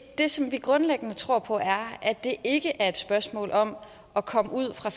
det som vi grundlæggende tror på er at det ikke er et spørgsmål om at komme ud fra